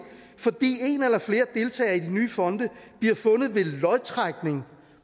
fordi en eller flere deltagere i de nye fonde bliver fundet ved lodtrækning